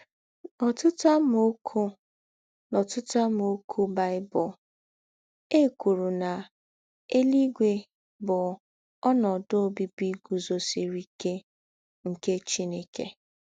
N’ọ̀tụ̀tụ̀ àmàókù̄ N’ọ̀tụ̀tụ̀ àmàókù̄ Bible, è kwùrù nà “ ēlúígwè ” bụ̀ ‘ ònòdū̄ ǒbíbí gùzosìrì íké ’ nke Chìnèkè.